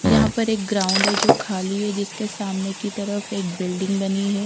यहां पर एक ग्राउंड है जो खाली है जिसके सामने की तरफ एक बिल्डिंग बनी है।